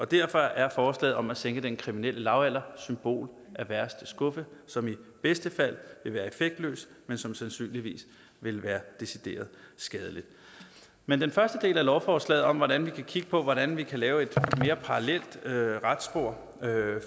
derfor er forslaget om at sænke den kriminelle lavalder symbol af værste skuffe som i bedste fald vil være effektløs men som sandsynligvis vil være decideret skadelig men den første del af lovforslaget om hvordan vi kan kigge på hvordan vi kan lave et mere parallelt retsspor